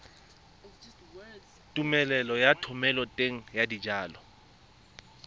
tumelelo ya thomeloteng ya dijalo